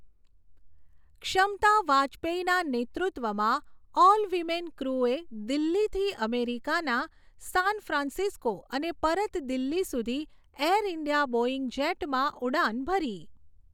ક્ષમતા વાજપેયીના નેતૃત્વમાં ઓલ વીમેન ક્રૂએ દિલ્લીથી અમેરિકાના સાન ફ્રાન્સિસ્કો અને પરત દિલ્લી સુધી ઍર ઇન્ડિયા બૉઇંગ જેટમાં ઉડાન ભરી.